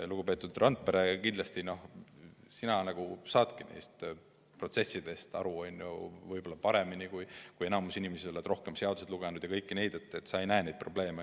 Lugupeetud Randpere, kindlasti sina saadki nendest protsessidest aru paremini kui enamik teisi inimesi, sa oled rohkem seadusi lugenud ja kõike muud, nii et sa ei näe neid probleeme.